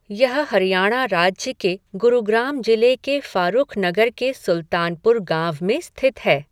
यह हरियाणा राज्य के गुरुग्राम जिले के फ़ारुखनगर के सुल्तानपुर गाँव में स्थित है।